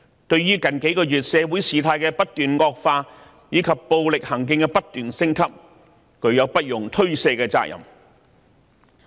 對於社會局勢在近幾個月持續惡化，暴力行徑不斷升級，他們有不容推卸的責任。